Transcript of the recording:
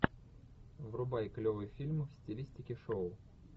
врубай клевый фильм в стилистике шоу